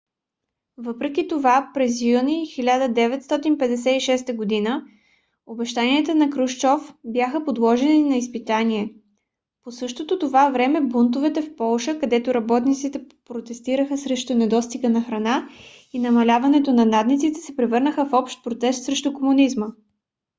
въпреки това през юни 1956 г. обещанията на крушчов бяха подложени на изпитание. по същото това време бунтовете в полша където работниците протестираха срещу недостига на храна и намаляването на надниците се превърнаха в общ протест срещу комунизма